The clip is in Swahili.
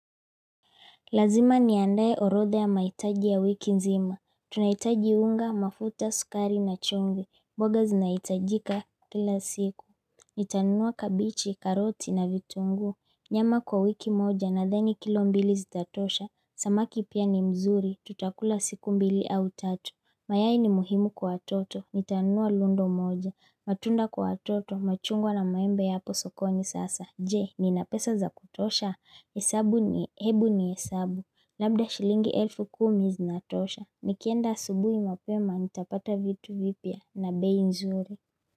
Lazima niandae orodha ya maitaji ya wiki nzima. Tunahitaji unga, mafuta, sukari na chumvi. Mboga zinaitajika kila siku. Nitanunua kabichi, karoti na vitunguu. Nyama kwa wiki moja nadhani kilo mbili zitatosha. Samaki pia ni mzuri. Tutakula siku mbili au tatu. Mayai ni muhimu kwa watoto. Nitanua lundo moja. Matunda kwa toto. Machungwa na maembe yapo sokoni sasa. Je, nina pesa za kutosha. Hebu ni hesabu. Labda shilingi elfu kumi zinatosha. Nikienda asubuhi mapema nitapata vitu vipya na bei nzuri.